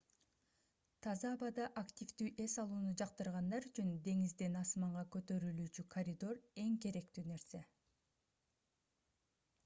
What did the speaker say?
таза абада аквтивдүү эс алууну жактыргандар үчүн деңизден асманга көтөрүлүүчү коридор эң керектүү нерсе